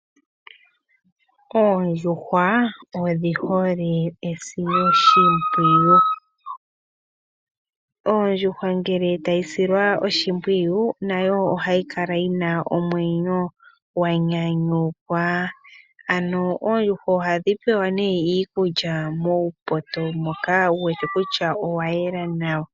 Oondjuhwa odhi hole esiloshimpwiyu. Ondjuhwa ngele tayi silwa oshimpwiyu, nayo ohayi kala yina omwenyo gwanyanyukwa. Ano oondjuhwa ohadhi pelwa nee iikulya muupoto mboka wuwete kutya owayela nawa.